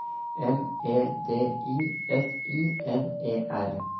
M E D I S I N E R